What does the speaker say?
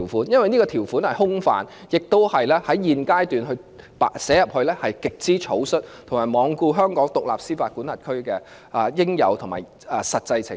因為此條款內容空泛，而且在現階段寫入條文亦極為草率，也罔顧香港作為獨立司法管轄區應有的實際情況。